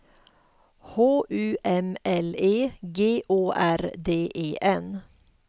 H U M L E G Å R D E N